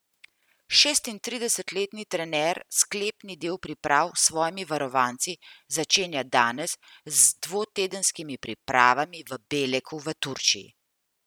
Štiriintridesetletni trener sklepni del priprav s svojimi varovanci začenja danes z dvotedenskimi pripravami v Beleku v Turčiji.